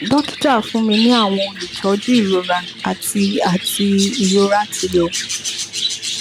dokita fun mi ni awọn olutọju irora ati ati irora ti lọ